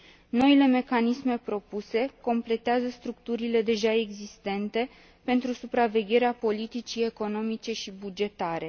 Noile mecanisme propuse completează structurile deja existente pentru supravegherea politicii economice și bugetare.